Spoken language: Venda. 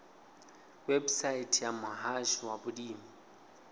website ya muhasho wa vhulimi